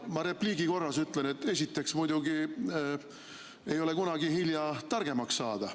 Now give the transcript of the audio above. Ma repliigi korras ütlen, et esiteks muidugi ei ole kunagi hilja targemaks saada.